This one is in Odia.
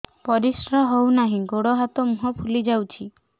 ପରିସ୍ରା ହଉ ନାହିଁ ଗୋଡ଼ ହାତ ମୁହଁ ଫୁଲି ଯାଉଛି